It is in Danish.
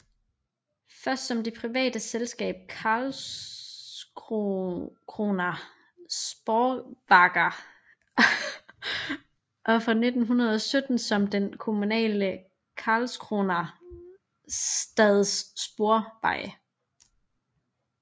Først som det private selskab Karlskrona spårvägar og fra 1917 som den kommunale Karlskrona stads sporveje